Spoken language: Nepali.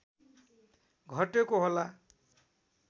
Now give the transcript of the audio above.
घटेको होला